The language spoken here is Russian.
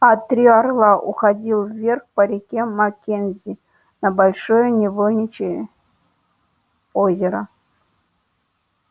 а три орла уходил вверх по реке маккензи на большое невольничье озеро